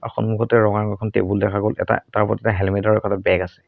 সন্মুখতে ৰঙা ৰঙৰ এখন টেবুল দেখা গ'ল এটা তাৰ ওপৰত এটা হেলমেট আৰু বেগ আছে।